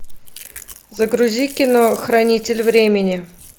загрузи кино хранитель времени